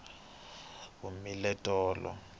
tikhomba ti humile tolo